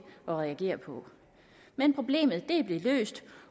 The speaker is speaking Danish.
at reagere på men problemet blev løst